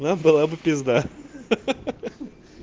была бы пизда ха-ха